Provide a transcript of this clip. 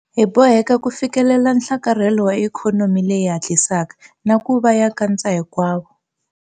Hi boheka ku fikelela nhlakarhelo wa ikhonomi leyi hatlisaka na ku va ya nkatsahinkwavo.